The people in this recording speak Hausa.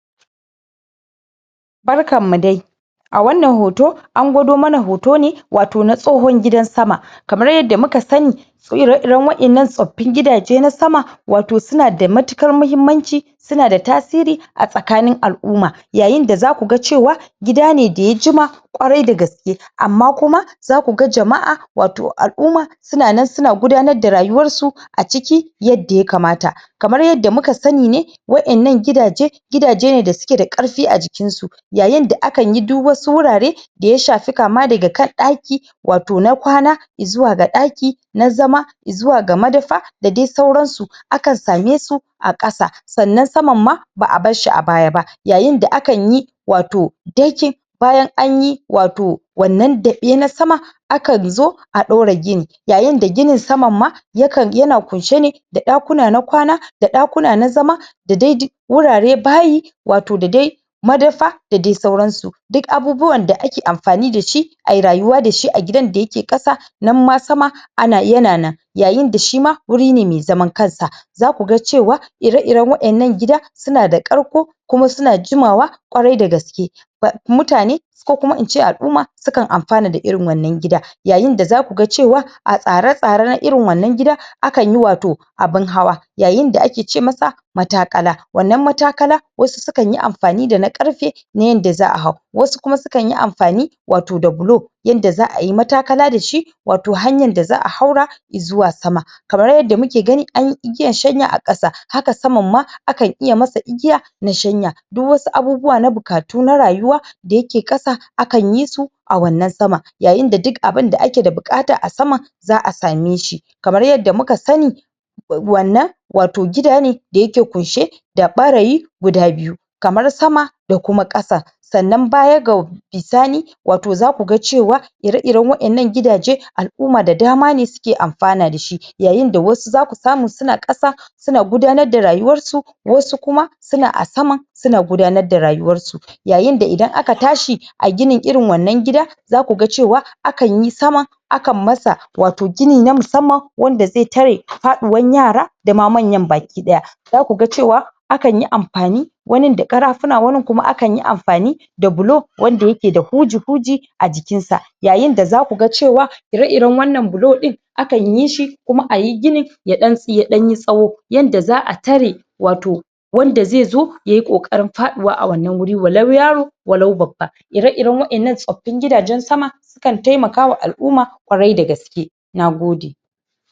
Barkan mu dai! A wannan hoto, an gwado muna hoto ne wato na tsohon gidan sama. Kamar yadda muka sani ire-iren waƴannan tsoffin gidaje na sama wato su na da matuƙar muhimmanci su na da tasiri a tsakanin al'umma. Yayin da za ku ga cewa gida ne da ya jima, ƙwarai da gaske amma kuma za ku ga jama'a wato al'umma su na nan su na gudanar da rayuwar su a ciki yadda ya kamata. Kamar yadda muka sani ne, waƴannan gidaje, gidaje ne da suke da ƙarfi a jikin su. Yayin da akan yi duk wasu wurare da ya shafi kama daga kan ɗaki wato na kwana izuwa ga ɗaki na zama, zuwa ga madafa, da dai sauran su. Akan same su a ƙasa sannan saman ma ba'a bar shi a baya na. Yayin da akan yi wato decking bayan anyi wato wannan daɓe na sama akan zo a ɗora gini. Yayin da ginin saman ma yakan ya na ƙunshe ne da ɗakuna na kwana da ɗakuna na zama da dai duk wurare bayi wato da dai madafa da dai sauran su. Duk abubuwan da ake amfani da shi a yi rayuwa da shi a gidan da ya ke ƙasa nan ma sama ana ya na nan. Yayin da sh ima wuri ne mai zaman kansa. Za ku ga cewa ire-irem waƴannan gida su na da ƙarko kuma su na jimawa ƙwarai da gaske. Ba mutane ko kuma ince al'umma sukan amfana da irin waƴannan gida. Yayin da za ku ga cewa a tsare-tsaren irin wannan gida akan yi wato abun hawa, yayin da ake ce masa mataƙala. Wannan mataƙala, wasu sukan yin amfani da na ƙarfe na yanda za'a hau. Wasu kuma sukan amfani wato da bulo yanda za'a yi mataƙala da shi wato hanyan da za'a haura izuwa sama. Kamar yanda muke gani an yi igiyar shanya a sama, haka ƙasan ma akan iya masa igiya na shanya. Duk wasu abubuwa na buƙatu na rayuwa da ya ke ƙasa, akan yi su a wannan sama. Yayin da duk abun da ake da buƙata a sama za'a same shi. Kamar yadda muka sani wai wannan wato gida ne da ya ke ƙunshe da ɓarayi guda biyu, kamar sama da kuma ƙasa. Sannan baya ga bisani wato za ku ga cewa ire-iren waƴannan gidaje al'umma da dama ne suke amfana da shi. Yayin da wasu za ku samu su na ƙasa su na gudanar da rayuwar su, wasu kuma su na a sama su na gudanar da rayuwar su. Yayin da idan aka tashi a gini irin wannan gida za ku ga cewa akan yi saman, akan masa wato gini na musamman wanda zai tare faɗuwan yara da ma manyan baki ɗaya. Za ku ga cewa anyi amfani wanin da ƙarafuna wanin kuma akan yi amfani da bulo wanda ya ke da huji-huji a jikin sa Yayin da za ku ga cewa ire-iren wannan bulo ɗin akan yi shi kuma ayi gini ya ɗan yi tsawo yanda za'a tare wato wanda zai zo yayi ƙoƙarin faɗuwa a wannan wurin walau yaro walau babba Ire-iren waƴannan tsoffin gidaje sama sukan taimakawa al'umma ƙwarai da gaske. Nagode!